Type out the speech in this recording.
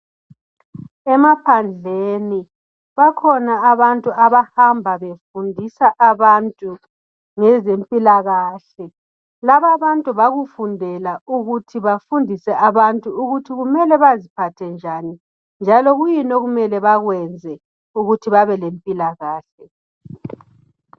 Emaphandleni, bakhona abantu abahamba befundisa abantu ngezempilakahle. Laba bantu bakufundela ukuthi bafundise abantu ukuthi kumele baziphathe njani njalo kuyini okumele bakwenze ukuthi babelempilakahle.